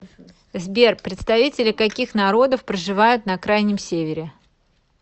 сбер представители каких народов проживают на крайнем севере